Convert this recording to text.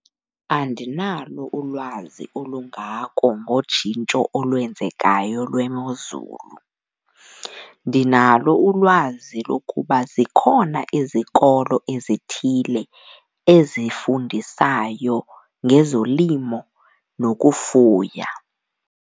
Andinalo ulwazi olungako ngotshintsho olwenzekayo lwemozulu. Ndinalo ulwazi lokuba zikhona izikolo ezithile ezifundisayo ngezolimo nokufuya.